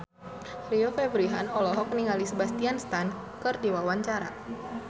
Rio Febrian olohok ningali Sebastian Stan keur diwawancara